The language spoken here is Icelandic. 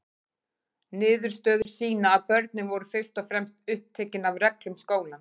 Niðurstöður sýna að börnin voru fyrst og fremst upptekin af reglum skólans.